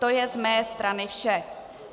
To je z mé strany vše.